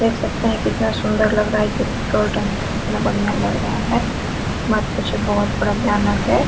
देख सकते हैं कितना सुंदर लग रहा है ये पेट्रोल टंकी कितना बढ़िया लग रहा है मत पूछिए बहुत बड़ा भयानक है।